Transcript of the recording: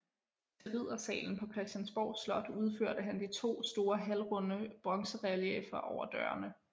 Til Riddersalen på Christiansborg Slot udførte han de 2 store halvrunde bronzerelieffer over dørene